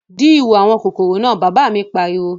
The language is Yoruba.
Dí ihò àwọn kòkòrò náà, Bàbá mi pariwo